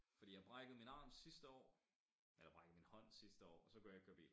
Fordi jeg brækkede min arm sidste år eller brækkede min hånd sidste år og så kunne jeg ikke køre bil